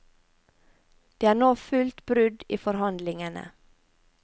Det er nå fullt brudd i forhandlingene.